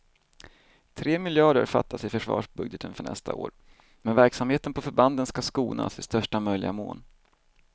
Tre miljarder fattas i försvarsbudgeten för nästa år, men verksamheten på förbanden ska skonas i största möjliga mån.